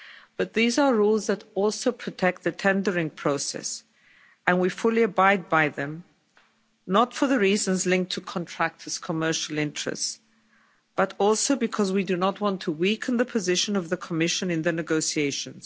But these are rules that also protect the tendering process and we fully abide by them, not for the reasons linked to contractors' commercial interests, but also because we do not want to weaken the position of the Commission in the negotiations.